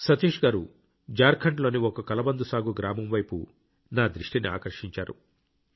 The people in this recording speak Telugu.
సతీష్ గారు జార్ఖండ్లోని ఒక కలబంద సాగు గ్రామం వైపు నా దృష్టిని ఆకర్షించారు